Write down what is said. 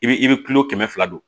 I bi i bɛ kilo kɛmɛ fila don